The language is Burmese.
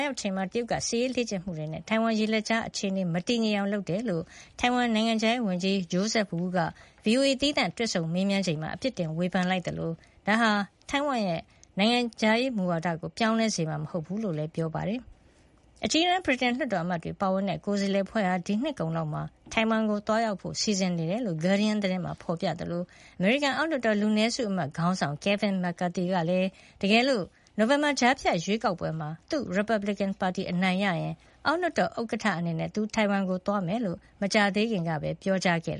ရောက်ချိန်မှာ တရုတ်က စစ်ရေးလေ့ကျင့်မှုတွေနဲ့ ထိုင်ဝမ်ရေလက်ကြားရဲ့ အခြေအနေ မတည်ငြိမ်အောင်လုပ်တယ်လို့ ထိုင်ဝမ်နိုင်ငံခြားရေးဝန်ကြီး Joseph Wu က VOA သီးသန့်တွေ့ဆုံမေးမြန်းချိန်မှာ အပစ်တင်ဝေဖန်လိုက်သလို ဒါဟာ ထိုင်ဝမ်ရဲ့ နိုင်ငံခြားရေးမူဝါဒကို ပြောင်းလဲစေမှာ မဟုတ်ကြောင်းလည်း ပြောကြားခဲ့ပါတယ်။ အကြီးတန်း ဗြိတိန်လွှတ်တော်အမတ်တွေပါဝင်တဲ့ ကိုယ်စားလှယ်အဖွဲ့ဟာ ဒီနှစ်ကုန်လောက်မှာ ထိုင်ဝမ်ကို သွားရောက်ဖို့ စီစဉ်နေတယ်လို့ Guardian သတင်းမှာ ဖေါ်ပြထားသလို အမေရိကန် အောက်လွှတ်တော် လူနည်းစုအမတ်ခေါင်းဆောင် Kevin McCarthy ကလည်း တကယ်လို့ နိုဝင်ဘာကြားဖြတ်ရွေးကောက်ပွဲမှာ သူ့ရီပတ်ဘလစ်ကင်ပါတီ အနိုင်ရရင် အောက်လွှတ်တော် ဥက္ကဋ္ဌအနေနဲ့ သူ ထိုင်ဝမ်ကို သွားမှာဖြစ်ကြောင်း မကြာသေးခင်ကပဲ ပြောကြားခဲ့